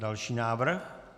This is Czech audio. Další návrh.